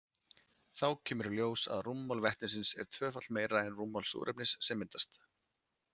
Þá kemur í ljós að rúmmál vetnisins er tvöfalt meira en rúmmál súrefnisins sem myndast.